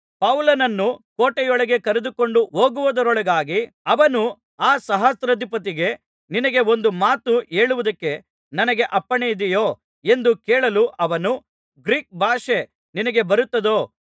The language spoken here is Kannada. ಪೌಲನನ್ನು ಕೋಟೆಯೊಳಗೆ ಕರೆದುಕೊಂಡು ಹೋಗುವುದರೊಳಗಾಗಿ ಅವನು ಆ ಸಹಸ್ರಾಧಿಪತಿಗೆ ನಿನಗೆ ಒಂದು ಮಾತು ಹೇಳುವುದಕ್ಕೆ ನನಗೆ ಅಪ್ಪಣೆ ಇದೆಯೋ ಎಂದು ಕೇಳಲು ಅವನು ಗ್ರೀಕ್ ಭಾಷೆ ನಿನಗೆ ಬರುತ್ತದೋ